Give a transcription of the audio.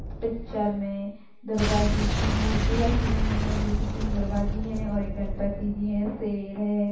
Picture में दुर्गा जी की मूर्ति रखी हुई हैं जो की तीन दुर्गा जी हैं और एक गणपति जी है शेर है।